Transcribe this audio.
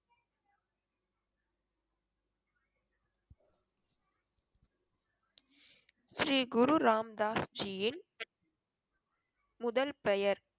ஸ்ரீ குரு ராம்தாஸ் ஜீயின் முதல் பெயர்